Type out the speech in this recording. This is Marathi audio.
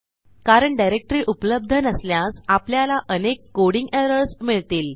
कारण डायरेक्टरी उपलब्ध नसल्यास आपल्याला अनेक कोडिंग एरर्स मिळतील